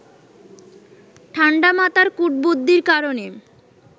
ঠাণ্ডা মাথার কূটবুদ্ধির কারণে